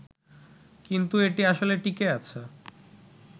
কিন্তু এটি আসলে টিঁকে আছে